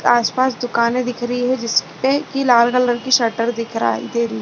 आस - पास दुकाने दिख रही है जिसपे की लाल कलर की शटर दिखराई दे रही है।